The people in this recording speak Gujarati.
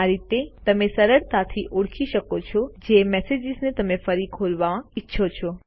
આ રીતે તમે સરળતાથી ઓળખી શકો છો જે મેસેજીસને તમે ફરી ખોલવા ઈચ્છો છો